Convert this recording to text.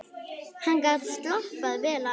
Hann gat slappað vel af.